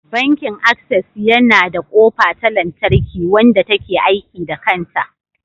Bankin Access yana da kofa ta lantarki, wanda ta ke aiki da kanta.